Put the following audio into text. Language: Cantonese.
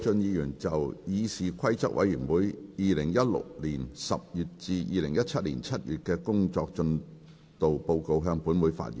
謝偉俊議員就"議事規則委員會2016年10月至2017年7月的工作進度報告"向本會發言。